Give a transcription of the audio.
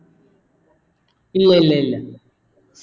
ഇല്ല ഇല്ല ഇല്ല